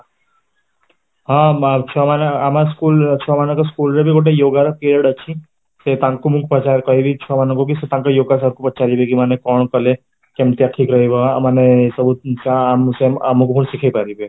ହଁ, ବା ଛୁଆ ମାନେ ଆମ ସ୍କୁଲ ଛୁଆ ମାନଙ୍କ ସ୍କୁଲ ରେ ବି ଗୋଟେ yoga ର ପିରିଅଡ ଅଛି, ସେ ତାଙ୍କୁ ମୁଁ କହିବି କି ଛୁଆମାନଙ୍କୁ ବି ସେ ତା yoga ସାର ଙ୍କୁ ପଚାରିବେ କି ମାନେ କଣ କଲେ କେମତିଆ ଠିକ ରହିବ ମାନେ ସବୁ ଆମକୁ ବି ଶିଖେଇପାରିବେ